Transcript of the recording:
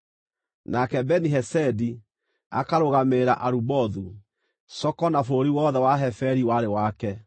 nake Beni-Hesedi akarũgamĩrĩra Arubothu (Soko na bũrũri wothe wa Heferi warĩ wake);